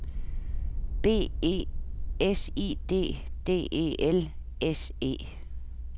B E S I D D E L S E